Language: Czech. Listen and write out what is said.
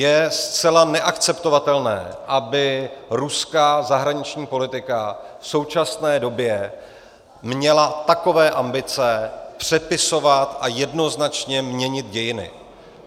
Je zcela neakceptovatelné, aby ruská zahraniční politika v současné době měla takové ambice přepisovat a jednoznačně měnit dějiny.